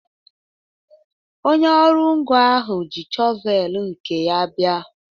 Onye ọrụ ngo ahụ ji shọvel nke ya bia